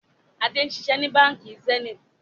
Adé ń ṣiṣẹ́ ni Báńkì Zenith.